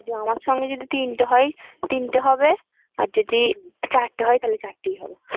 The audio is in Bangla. যে আমার সাথে যদি তিনটা হয় তিনটা হবে আর যদি হারটা হয় তাহলে চারটা হবে